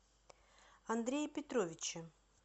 андрее петровиче